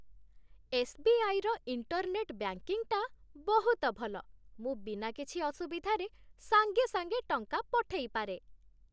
SBI. ର internet ବ୍ୟାଙ୍କିଂଟା ବହୁତ ଭଲ । ମୁଁ ବିନା କିଛି ଅସୁବିଧାରେ ସାଙ୍ଗେ ସାଙ୍ଗେ ଟଙ୍କା ପଠେଇପାରେ ।